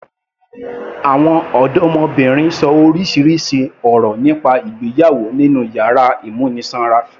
Àwọn ọdọmọbìnrin ṣọ orísirísi ọ̀rọ̀ nípa ìgbéyàwó nínú yàrá ìmúnisanra.